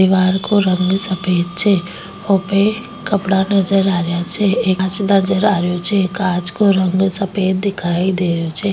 दिवार को रंग सफ़ेद छे ऊपे कपडा नजर आ रेहा छे कांच नजर आरेहो छे कांच को रंग सफ़ेद दिखाई दे रेहो छे।